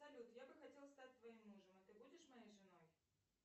салют я бы хотел стать твоим мужем а ты будешь моей женой